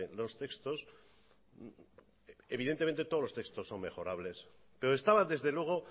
los textos evidentemente todos los textos son mejorables pero estaba desde luego